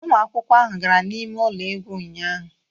Ụmụ akwụkwọ ahụ gara n'ime ụlọ egwu ụnyahụ